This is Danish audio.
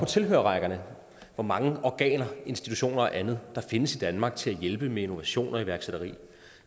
tilhørerrækkerne hvor mange organer institutioner og andet der findes i danmark til at hjælpe med innovation og iværksætteri